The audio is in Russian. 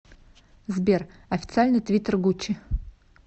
сбер официальный твиттер гуччи